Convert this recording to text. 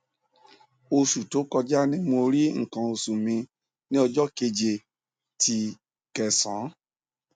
oṣu to kọja ni mo ri nkan oṣu mi ni ọjọ́ keje ti kẹsán